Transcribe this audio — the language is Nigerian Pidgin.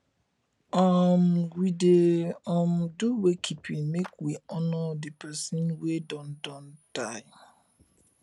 um we dey um do wake keeping make we honor di pesin wey don don die